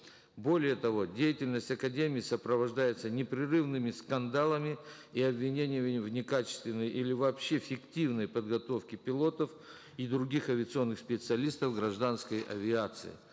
более того деятельность академии сопровождается непрерывными скандалами и обвинениями в некачественной или вообще фиктивной подготовке пилотов и других авиационных специалистов гражданской авиации